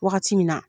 Wagati min na